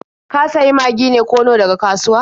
Ka sayi Magi ne ko Nor daga kasuwa?